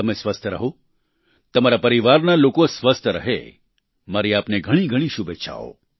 તમે સ્વસ્થ રહો તમારા પરિવારના લોકો સ્વસ્થ રહે મારી આપને ઘણી ઘણી શુભેચ્છાઓ